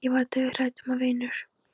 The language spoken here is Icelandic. Ég var dauðhrædd um að vinur